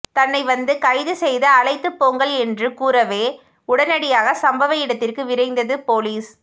தன்னை வந்து கைது செய்து அழைத்துப்போங்கள் என்றும் கூறவே உடனடியாக சம்பவ இடத்திற்கு விரைந்தது போலீஸ்